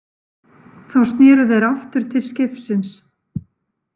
Þá sneru þeir aftur til skipsins.